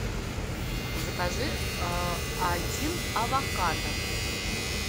закажи один авокадо